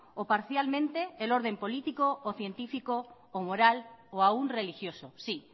o parcialmente el orden político o científico o moral o aún religioso sí